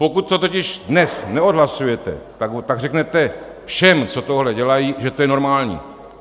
Pokud to totiž dnes neodhlasujete, tak řeknete všem, co tohle dělají, že to je normální.